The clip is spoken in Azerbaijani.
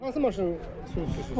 Hansı maşını vurdunuz?